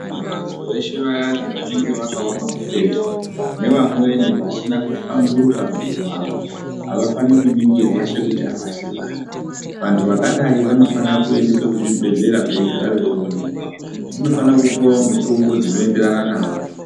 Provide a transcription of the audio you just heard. Vantu veshe vayani vanonga vakaoma mutezo nevamweni vasina kuhlamburuka mwiri wawo avafaniri kuningirwa sekuti avasi vantu. Vantu vakadai vanofana kuendeswe kuzvibhedhlera veigara veionekwa, vanofana kupiwawo mutombo dzinoenderana nawo.